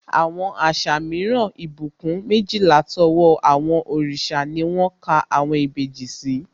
Àwọn àṣà mìíràn, ìbùkún méjì látọwọ́ àwọn òrìṣà ni wón ka àwọn ìbejì sí